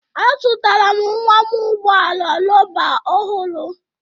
Azụtara m nwa m ụgbọ ala rọba ọhụrụ